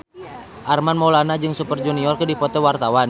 Armand Maulana jeung Super Junior keur dipoto ku wartawan